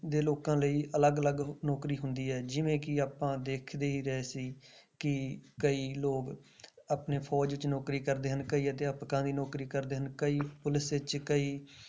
ਦੇ ਲੋਕਾਂ ਲਈ ਅਲੱਗ ਅਲੱਗ ਨੌਕਰੀ ਹੁੰਦੀ ਹੈ ਜਿਵੇਂ ਕਿ ਆਪਾਂ ਦੇਖਦੇ ਹੀ ਰਹੇ ਸੀ ਕਿ ਕਈ ਲੋਕ ਆਪਣੇ ਫ਼ੌਜ ਵਿੱਚ ਨੌਕਰੀ ਕਰਦੇ ਹਨ, ਕਈ ਅਧਿਆਪਕਾਂ ਦੀ ਨੌਕਰੀ ਕਰਦੇ ਹਨ ਕਈ ਪੁਲਿਸ ਵਿੱਚ, ਕਈ